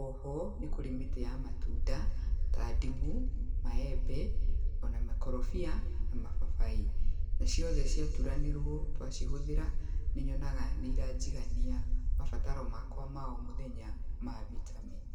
Oho, nĩkũrĩ mĩtĩ ya matunda, ta ndimũ, maembe, ona makorobia na mababaĩ. Na ciothe ciaturanĩrũo, twacihũthĩra, nĩnyonaga nĩiranjigania, mabataro makwa ma omũthenya ma vitameni.